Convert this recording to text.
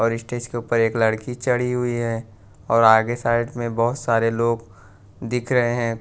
और के ऊपर एक लड़की चढ़ी हुई है और आगे साइड में बहोत सारे लोग दिख रहे हैं।